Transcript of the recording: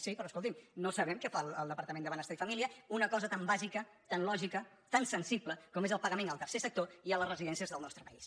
sí però escolti’m no sabem què fa el depar·tament de benestar i família una cosa tan bàsica tan lògica tan sensible com és el pagament al tercer sec·tor i a les residències del nostre país